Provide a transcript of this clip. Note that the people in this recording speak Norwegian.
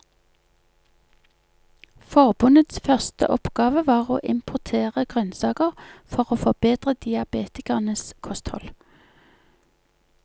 Forbundets første oppgave var å importere grønnsaker for å forbedre diabetikernes kosthold.